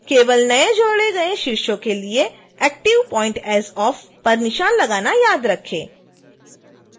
केवल नए जोड़े गए शीर्षों के लिए active point as off पर निशान लगाना याद रखें